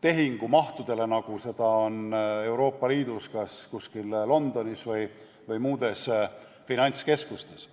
tehingumahtudeni, nagu on Euroopa Liidus Londonis või muudes finantskeskustes.